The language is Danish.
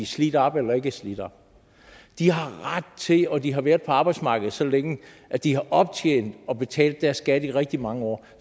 slidt op eller ikke er slidt op de har ret til det og de har været på arbejdsmarkedet så længe at de har optjent det og betalt deres skat i rigtig mange år